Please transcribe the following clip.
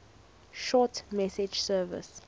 short message service